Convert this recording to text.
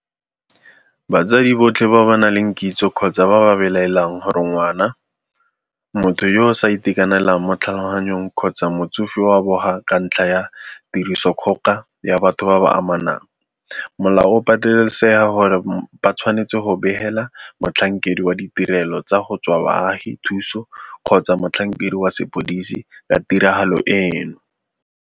Batsadi botlhe ba ba nang le kitso kgotsa ba ba belaelang gore ngwana, motho yo a sa itekanelang mo tlhaloganyong kgotsa motsofe o a boga ka ntlha ya tirisodikgoka ya batho ba ba amanang, molao o patelesega gore ba tshwanetse go begela motlhankedi wa ditirelo tsa go tswa baagi thuso kgotsa motlhankedi wa sepodisi ka tiragalo eno.